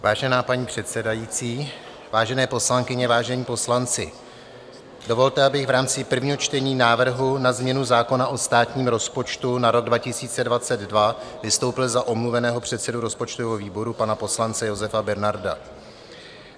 Vážená paní předsedající, vážené poslankyně, vážení poslanci, dovolte, abych v rámci prvního čtení návrhu na změnu zákona o státním rozpočtu na rok 2022 vystoupil za omluveného předsedu rozpočtového výboru, pana poslance Josefa Bernarda.